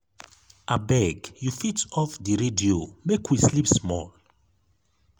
abeg you fit off di radio make we sleep small.